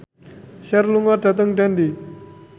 Cher lunga dhateng Dundee